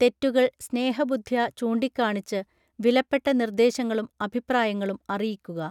തെറ്റുകൾ സ്നേഹബുദ്ധ്യാ ചൂണ്ടികാണിച്ച് വിലപ്പെട്ട നിർദ്ദേശങ്ങളും അഭിപ്രായങ്ങളും അറിയിക്കുക